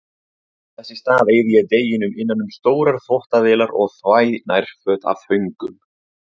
Þess í stað eyði ég deginum innan um stórar þvottavélar og þvæ nærföt af föngum.